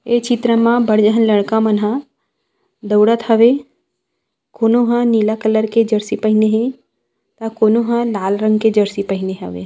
ये चित्र मा बढ़ झन लड़का मन ह दउड़त हवे कोनो ह नीला कलर के जर्सी पहिने हे त कोनो लाल रंग के जर्सी पहिने हवे।